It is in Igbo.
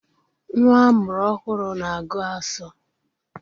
Nwa amụrụ ọhụrụ na-agu asọ.